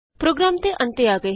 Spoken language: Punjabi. ਪ੍ਰੋਗਰਾਮ ਦੇ ਅੰਤ ਤੇ ਆ ਗਏ ਹਾਂ